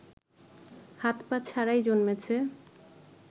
হাত-পা ছাড়াই জন্মেছে